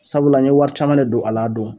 Sabula n ye wari caman de don a l'a don.